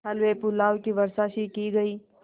हलवेपुलाव की वर्षासी की गयी